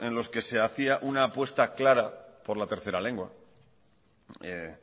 en los que se hacía una apuesta clara por la tercera lengua que